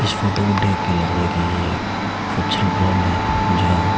photo को देखके लग रहा है कि ये एक फंक्शन ग्राउंड है जहां--